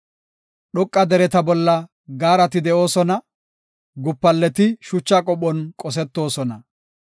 Dhoqa dereta bolla gaarati de7oosona; gupalleti shucha qophon qosetoosona.